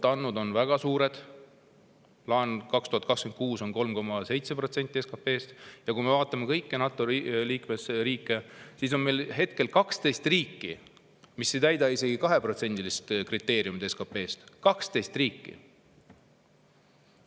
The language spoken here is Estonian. Plaan on 2026. aastaks 3,7%‑ni SKP‑st. Kui me vaatame kõiki NATO liikmesriike, siis hetkel on 12 riiki, mis ei täida isegi kriteeriumi 2% SKP‑st. 12 riiki!